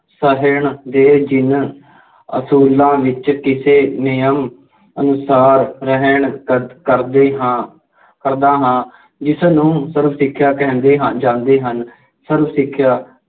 ਸਹਿਣ ਦੇ ਜਿੰਨ ਅਸੂਲਾਂ ਵਿੱਚ ਕਿਸੇ ਨਿਯਮ ਅਨੁਸਾਰ ਰਹਿਣ ਕਰਦੇ ਹਾਂ ਕਰਦਾ ਹਾਂ ਜਿਸਨੂੰ ਸਰਵ ਸਿੱਖਿਆ ਕਹਿੰਦੇ ਹਨ ਜਾਂਦੇ ਹਨ। ਸਰਵ ਸਿੱਖਿਆ